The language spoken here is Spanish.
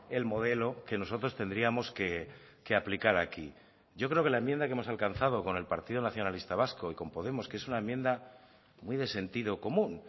el modelo que nosotros tendríamos que aplicar aquí yo creo que la enmienda que hemos alcanzado con el partido nacionalista vasco y con podemos que es una enmienda muy de sentido común